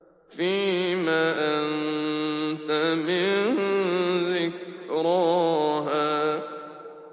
فِيمَ أَنتَ مِن ذِكْرَاهَا